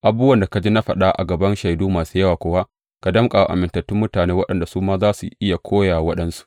Abubuwan da ka ji na faɗa a gaban shaidu masu yawa kuwa ka danƙa wa amintattun mutane waɗanda su ma za su iya koya wa waɗansu.